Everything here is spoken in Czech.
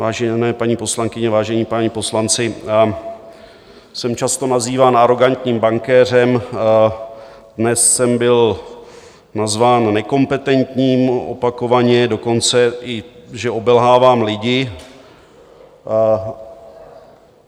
Vážené paní poslankyně, vážení páni poslanci, jsem často nazýván arogantním bankéřem, dnes jsem byl nazván nekompetentním opakovaně, dokonce že i obelhávám lidi.